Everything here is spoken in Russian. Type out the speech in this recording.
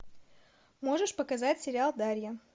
можешь показать сериал дарья